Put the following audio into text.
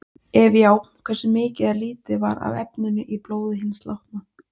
Ef já, hversu mikið eða lítið var af efninu í blóði hins látna?